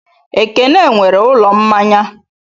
Ekene nwere ụlọ mmanya.